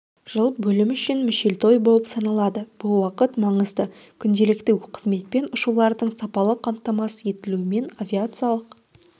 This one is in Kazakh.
жыл бөлім үшін мүшелтой болып саналады бұл уақыт маңызды күнделікті қызметпен ұшулардың сапалы қамтамасыз етілуімен авиациялық